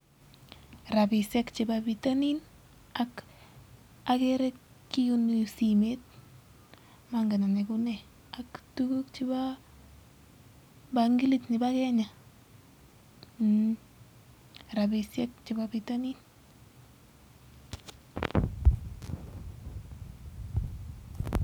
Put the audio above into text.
Rabisiek chebo bitonin ak simet ak [bangilit] Nebo kenya